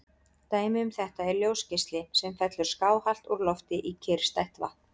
Dæmi um þetta er ljósgeisli sem fellur skáhallt úr lofti í kyrrstætt vatn.